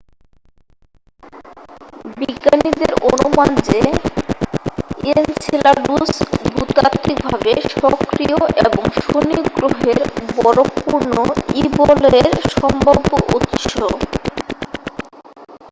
বিজ্ঞানীদের অনুমান যে এনসেলাডুস ভূতাত্বিকভাবে সক্রিয় এবং শনি গ্রহের বরফপূর্ণ ই-বলয়ের সম্ভাব্য উৎস